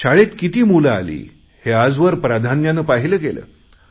शाळेत किती मुले आली हे आजवर प्राधान्यानं पाहिले गेले